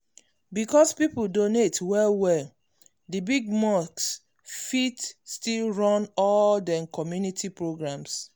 because people donate well well the big mosque fit still run all dem community programs.